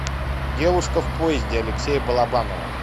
девушка в поезде алексея балабанова